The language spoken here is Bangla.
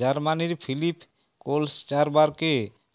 জার্মানির ফিলিপ কোলসচারবারকে